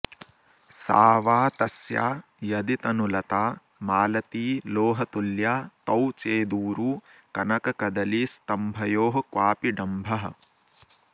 सा वा तस्या यदि तनुलता मालती लोहतुल्या तौ चेदूरू कनककदलीस्तम्भयोः क्वापि डम्भः